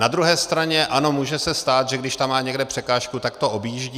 Na druhé straně ano, může se stát, že když tam má někde překážku, tak to objíždí.